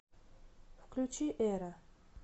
включи эра